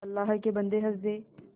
अल्लाह के बन्दे हंस दे